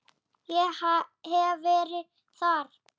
Ég hef verið þar.